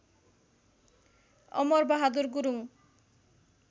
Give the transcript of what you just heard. Amar Bahadur Gurung